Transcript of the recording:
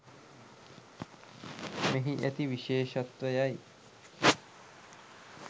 මෙහි ඇති විශේෂත්වයයි